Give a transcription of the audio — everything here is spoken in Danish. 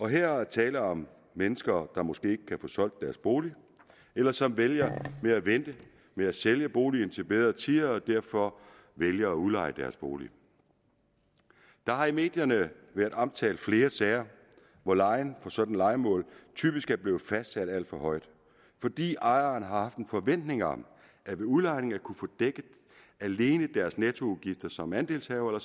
her er der tale om mennesker der måske ikke kan få solgt deres bolig eller som vælger at vente med at sælge boligen til bedre tider og derfor vælger at udleje deres bolig der har i medierne været omtalt flere sager hvor lejen for sådanne lejemål typisk er blevet fastsat alt for højt fordi ejerne har haft en forventning om ved udlejning at kunne få dækket alene deres nettoudgifter som andelshaver